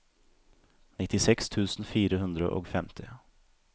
nittiseks tusen fire hundre og femti